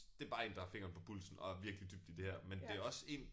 Det bare én der har fingeren på pulsen og er virkelig dybt i det her men det også én